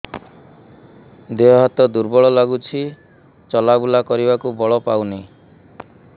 ଦେହ ହାତ ଦୁର୍ବଳ ଲାଗୁଛି ଚଲାବୁଲା କରିବାକୁ ବଳ ପାଉନି